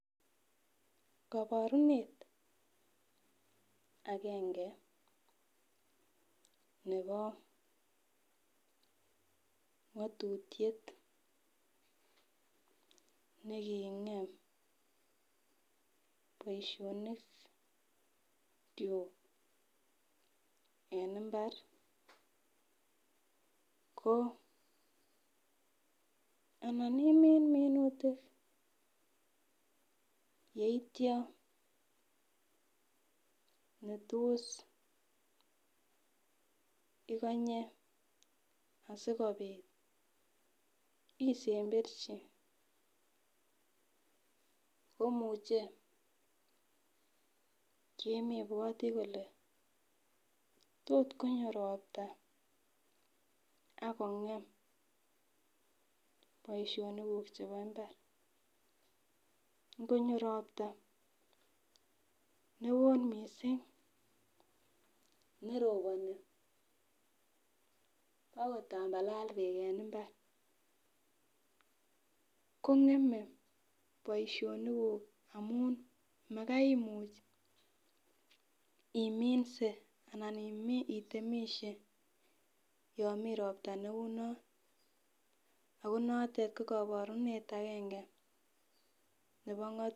Koborunet akenge nebo ngatutiet nekingem boishonik chu eng mbar ko yonanimi minutik yeityo netos ikonye asikobit isemberchi komuchei kemebwoti kole tot konyo ropta akongem boishonik kuk chebo mbar ngonyo ropta neo mising neroboni akotambalal beek en mbar kongemei boishonik kuk amun makai imuch iminse anan itemishe yo mi ropta neu no ako notet ko kaborunet akenge nebo.